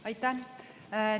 Aitäh!